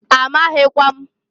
A maghikwam.